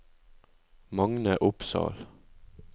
Magne Opsahl